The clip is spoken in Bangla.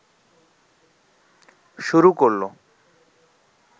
শুরু করলো